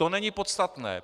To není podstatné.